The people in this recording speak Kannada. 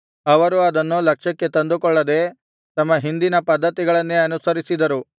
ಅವರು ಅದನ್ನು ಲಕ್ಷ್ಯಕ್ಕೆ ತಂದುಕೊಳ್ಳದೆ ತಮ್ಮ ಹಿಂದಿನ ಪದ್ಧತಿಗಳನ್ನೇ ಅನುಸರಿಸಿದರು